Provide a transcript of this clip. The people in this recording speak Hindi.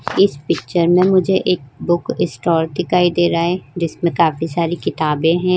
इस पिक्चर में मुझे एक बुक स्टॉल दिखाई दे रहा है जिसमें काफी सारी किताबें हैं।